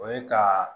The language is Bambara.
O ye ka